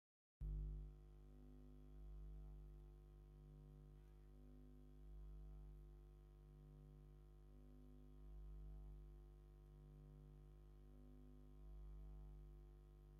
እዚ ኣብ ከተማ ዓዲግራት ዝርከብ መእተዊ ሆስፒታል ስሑል እዩ። ሰማያዊ ፊደላት ዘለዎ ዓቢ ጻዕዳ ምልክት ስሙ ብትግርኛን እንግሊዝኛን የርኢ። እቲ ሆስፒታል እንታይ ዓይነት ኣገልግሎት ይህብ?